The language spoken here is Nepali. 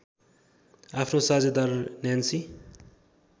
आफ्नो साझेदार न्यान्सी